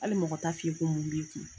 Hali mɔgɔ t'a f'i ye ko mun b'i kun.